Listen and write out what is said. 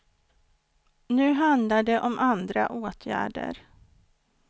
Nu handlar det om andra åtgärder.